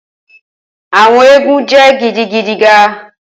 Awọn eégún jẹ gidigidi ga